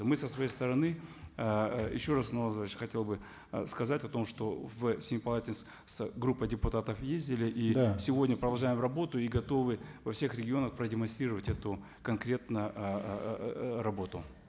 мы со своей стороны ыыы еще раз хотел бы ы сказать о том что в семипалатинск с группой депутатов ездили сегодня продолжаем работу и готовы во всех регионах продемонстрировать эту конкретно ыыы работу